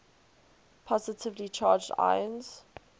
positively charged ions